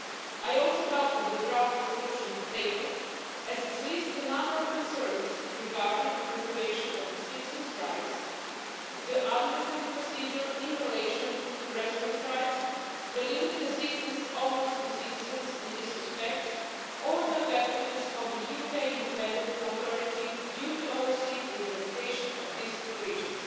I also welcome the draft resolution tabled as it lists a number of concerns regarding the preservation of citizens' rights, the administrative procedure in relation to residents' rights, the limited assistance offered to citizens in this respect or the effectiveness of the UK independent authority due to oversee the implementation of these provisions.